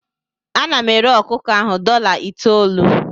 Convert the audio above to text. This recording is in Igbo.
Ana m ere ọkụkọ ahụ dọla itoolu.